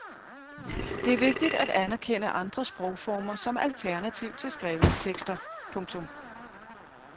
Det er vigtigt at anerkende andre sprogformer som alternativ til skrevne tekster. punktum